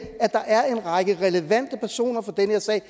at der er en række relevante personer fra den her sag